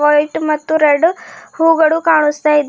White ಮತ್ತು red ಹೂಗಳು ಕಾಣಿಸ್ತಾ ಇದೆ.